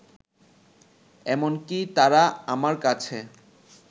এমনকি তারা আমার কাছে